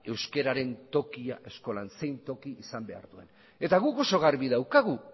euskararen tokia eskolan zein toki izan behar duen eta guk oso garbi daukagu